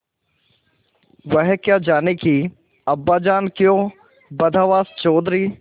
वह क्या जानें कि अब्बाजान क्यों बदहवास चौधरी